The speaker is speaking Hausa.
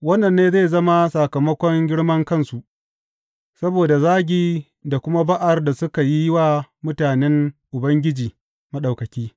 Wannan ne zai zama sakamakon girmankansu, saboda zagi da kuma ba’ar da suka yi wa mutanen Ubangiji Maɗaukaki.